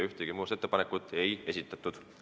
Ühtegi muudatusettepanekut ei esitatud.